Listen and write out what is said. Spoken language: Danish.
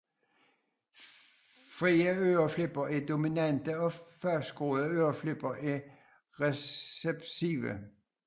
Frie øreflipper er dominante og fastgroede øreflipper er recessive